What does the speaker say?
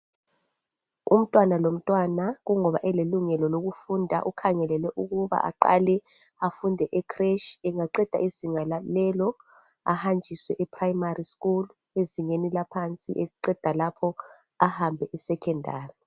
Umntwana lomntwana kungoba elelungelo lokufunda ukhangelelwe ukuba aqale afunde ecreche, angaqeda izinga lelo ahanjiswe eprimary school ezingeni laphansi eqeda lapho ahambe esecondary.